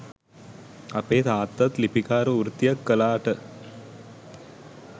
අපේ තාත්තත් ලිපිකාර වෘත්තියක් කළාට